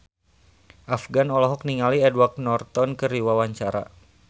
Afgan olohok ningali Edward Norton keur diwawancara